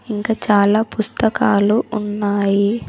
ఇంకా చాలా పుస్తకాలు ఉన్నాయి.